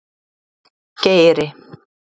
Geiri